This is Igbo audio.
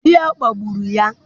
Di ya kpagburu ya.